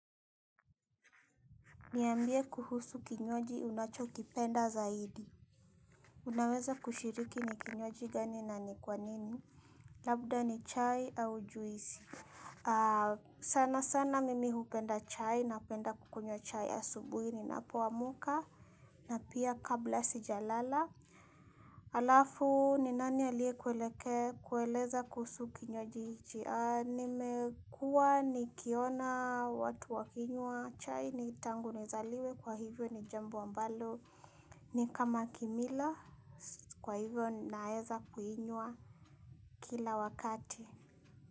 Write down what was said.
Niambie kuhusu kinywaji unacho kipenda zaidi. Unaweza kushiriki ni kinywaji gani na ni kwa nini? Labda ni chai au juisi. Sana sana mimi hupenda chai napenda kukunywa chai asubuhi ninapoamka na pia kabla sijalala. Halafu ni nani aliye kueleke kueleza kuhusu kinywaji. Nimekuwa ni kiona watu wakinywa chai ni tangu nizaliwe kwa hivyo ni jambo ambalo ni kama kimila kwa hivyo naeza kuinywa kila wakati.